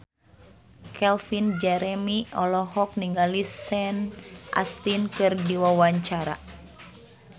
Calvin Jeremy olohok ningali Sean Astin keur diwawancara